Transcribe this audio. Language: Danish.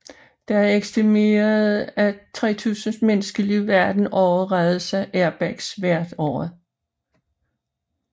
Det er estimeret at 3000 menneskeliv verden over reddes af airbags hvert år